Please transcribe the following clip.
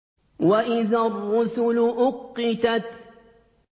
وَإِذَا الرُّسُلُ أُقِّتَتْ